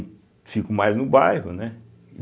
E fico mais no bairro, né?